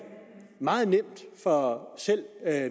meget nemt for selv